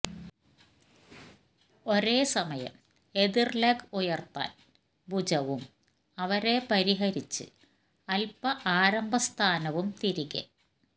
ഒരേസമയം എതിർ ലെഗ് ഉയർത്താൻ ഭുജവും അവരെ പരിഹരിച്ച് അൽപ ആരംഭസ്ഥാനവും തിരികെ